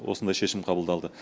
осындай шешім қабылдалды